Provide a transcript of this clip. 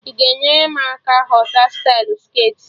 Ị ga-enyere m aka ghọta stylụ skirtị?